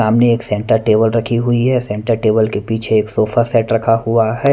सामने एक centre table रखी हुई है सेंटर टेबल के पीछे एक सोफा सेट रखा हुआ है।